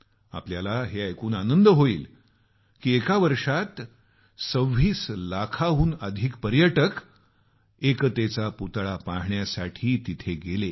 आपल्याला आनंद होईल की एका वर्षात 26 लाखाहून अधिक पर्यटक एकतेचा पुतळा पाहण्यासाठी तिथं गेले